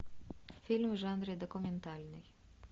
фильм в жанре документальный